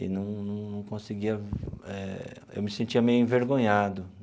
E não não não conseguia... eh eu me sentia meio envergonhado.